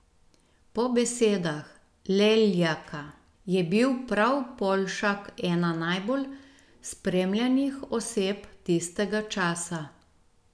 Po besedah Leljaka je bil prav Poljšak ena najbolj spremljanih oseb tistega časa.